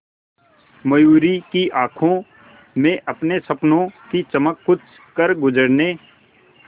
मयूरी की आंखों में अपने सपनों की चमक कुछ करगुजरने